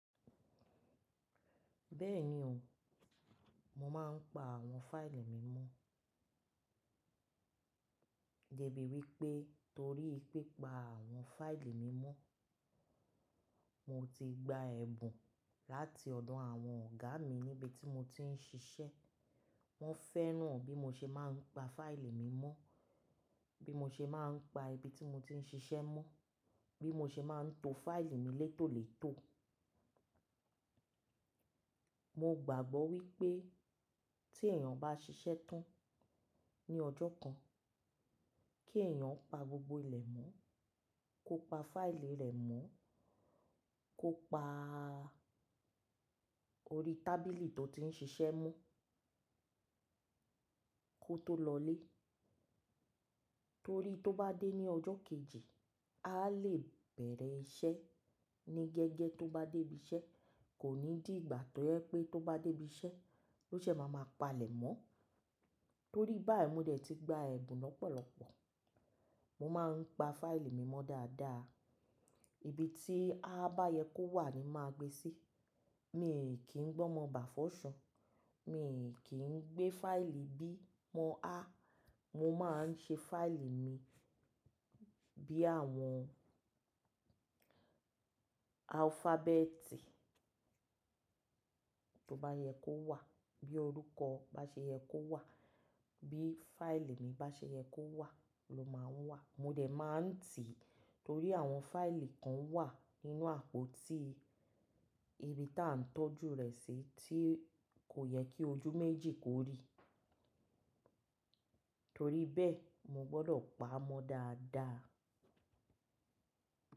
Bẹ́ẹ̀ni o, mo máa ń pa àwọn fáìlì mi mọ́. Débí wípé torí pi pa àwọn fáìlì mi mọ́, mo ti gba ẹ̀bùn láti ọ̀dọ̀ àwọn ọ̀gá mi níbi tí mo ti ń ṣiṣẹ́. Wọ́n fẹ́ràn bí mo ṣe máa ń pa fáìlì mi mọ́, bí mo ṣe máa ń pa ibi tí mo ti ń ṣiṣẹ́ mọ́, bí mo ṣe máa ń to fáìlì mi létòlètò. Mo gbàgbọ́ wípé tí èèyàn bá ṣiṣẹ́ tán ní ọjọ́ kan, kí èèyàn pa gbogbo ilẹ̀ mọ́, kó pa fáìlì rẹ̀ mọ́, kó pa orí tábìlì tó ti ń ṣiṣẹ́ mọ́ kó tó lọlé. Torí tó bá dé ní ọjọ́ kejì, aa lè bẹ̀rẹ̀ iṣẹ́ ní gẹ́gẹ́ tó bá dé ibi iṣẹ́, kò ní dì ìgbà tó yẹ pé tó bá dé ibi iṣẹ́, ló ṣè máa ma palẹ̀ mọ́. Torí báyìí mo dẹ̀ ti gba ẹ̀bùn lọ́pọ̀lọpọ̀. Mo máa ń pa fáìlì mi mọ́ dáadáa. Ibi tí a bá yẹ kó wà ni máa gbé sí. Mi ò kí ń gbọ́ mọ́ bàfọ́ṣun, mi ò kí ń gbé fáìlì bí mọ á. Mo máa ń ṣe fáìlì mi bí àwọn alufabẹti tó bá yẹ kó wà, bí orúkọ bá ṣe yẹ kó wà, bí fáìlì mi bá ṣe yẹ kó wà ló máa ń wà. Mo dẹ̀ máa ń tìí torí àwọn fáìlì kan wà nínú àpótí ibi tí à ń tọ́jú rẹ̀ sí tí kò yẹ kí ojú méjì kó rí. Torí bẹ́ẹ̀, mo gbọ́dọ̀ pa á mọ́ dáadáa.